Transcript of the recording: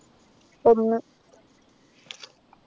ഒന്ന്